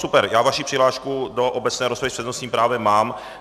Super, já vaši přihlášku do obecné rozpravy s přednostním právem mám.